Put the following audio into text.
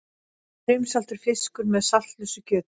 Brimsaltur fiskur með saltlausu kjöti.